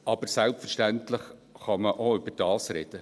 Aber selbstverständlich kann man auch darüber sprechen.